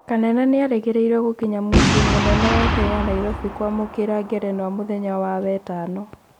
Kanene nĩerĩgĩrĩirwo gũkinya muciĩ mũnene wa Kenya Nairobi kwamũkĩra ngerenwa mũthenya wa wetano